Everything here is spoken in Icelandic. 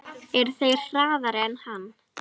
Eru þeir harðari en hann?